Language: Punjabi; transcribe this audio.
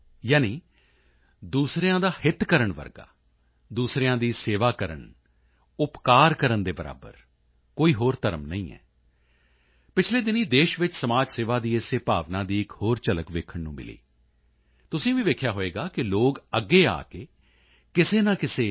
ਯਾਨੀ ਦੂਸਰਿਆਂ ਦਾ ਹਿਤ ਕਰਨ ਜਿਹਾ ਦੂਸਰਿਆਂ ਦੀ ਸੇਵਾ ਕਰਨ ਉਪਕਾਰ ਕਰਨ ਦੇ ਬਰਾਬਰ ਹੋਰ ਕੋਈ ਧਰਮ ਨਹੀਂ ਹੈ ਪਿਛਲੇ ਦਿਨੀਂ ਦੇਸ਼ ਵਿੱਚ ਸਮਾਜ ਸੇਵਾ ਦੀ ਇਸੇ ਭਾਵਨਾ ਦੀ ਇੱਕ ਹੋਰ ਝਲਕ ਦੇਖਣ ਨੂੰ ਮਿਲੀ ਤੁਸੀਂ ਵੀ ਦੇਖਿਆ ਹੋਵੇਗਾ ਕਿ ਲੋਕ ਅੱਗੇ ਆ ਕੇ ਕਿਸੇ ਨਾ ਕਿਸੇ ਟੀ